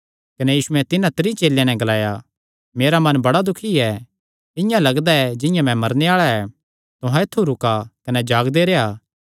कने यीशुयैं तिन्हां त्रीं चेलेयां नैं ग्लाया मेरा मन बड़ा दुखी ऐ इआं लगदा ऐ जिंआं मैं मरने आल़ा ऐ तुहां ऐत्थु रुका कने जागदे रेह्आ